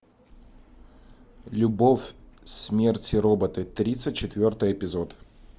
любовь смерть и роботы тридцать четвертый эпизод